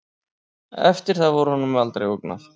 Eftir það var honum aldrei ógnað